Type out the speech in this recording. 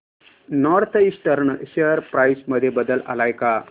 north Eastern share price मध्ये बदल आलाय का